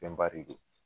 Fɛnba de don